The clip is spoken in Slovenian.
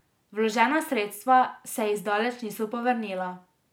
Vložena sredstva se ji zdaleč niso povrnila.